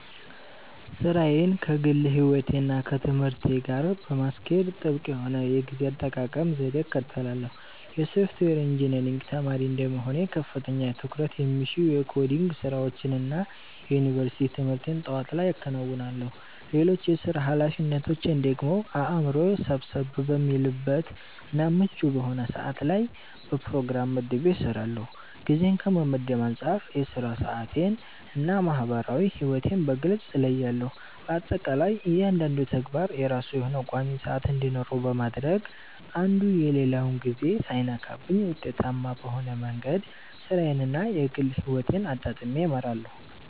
ሥራዬን ከግል ሕይወቴ እና ከትምህርቴ ጋር ለማስኬድ ጥብቅ የሆነ የጊዜ አጠቃቀም ዘዴን እከተላለሁ። የሶፍትዌር ኢንጂነሪንግ ተማሪ እንደመሆኔ ከፍተኛ ትኩረት የሚሹ የኮዲንግ ስራዎችን እና የዩኒቨርሲቲ ትምህርቴን ጠዋት ላይ አከናውናለሁ። ሌሎች የሥራ ኃላፊነቶቼን ደግሞ አእምሮዬ ሰብሰብ በሚልበት እና ምቹ በሆነ ሰዓት ላይ በፕሮግራም መድቤ እሰራዋለሁ። ጊዜን ከመመደብ አንፃር የሥራ ሰዓቴን እና የማህበራዊ ሕይወቴን በግልጽ እለያለሁ። በአጠቃላይ እያንዳንዱ ተግባር የራሱ የሆነ ቋሚ ሰዓት እንዲኖረው በማድረግ አንዱ የሌላውን ጊዜ ሳይነካብኝ ውጤታማ በሆነ መንገድ ሥራዬን እና የግል ሕይወቴን አጣጥሜ እመራለሁ።